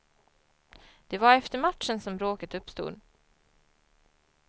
Det var efter matchen som bråket uppstod.